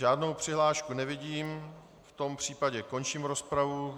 Žádnou přihlášku nevidím, v tom případě končím rozpravu.